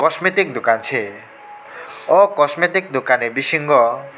cosmic dokan se o cosmic dokan ni bisingo.